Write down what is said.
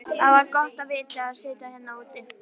Það var gott að sitja hérna núna.